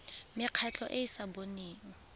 mekgatlho e e sa boneng